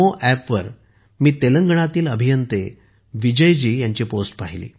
NaMoApp वर मी तेलंगणातील अभियंते विजयजी ह्यांची पोस्ट पाहिली